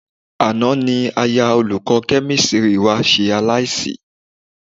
Àná ni aya olùkọ́ Kẹ́mísírì ṣe aláìsí